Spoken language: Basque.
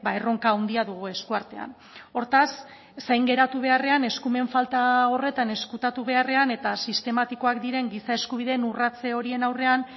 erronka handia dugu eskuartean hortaz zain geratu beharrean eskumen falta horretan ezkutatu beharrean eta sistematikoak diren giza eskubideen urratze horien aurrean